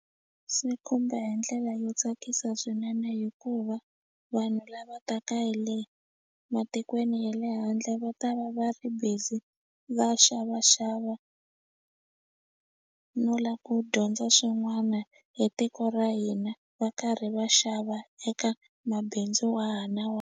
Swi khumba hi ndlela yo tsakisa swinene hikuva vanhu lava taka hi le matikweni ya le handle va ta va va ri busy va xavaxava no lava ku dyondza swin'wana hi tiko ra hina va karhi va xava eka mabindzu wa ha na .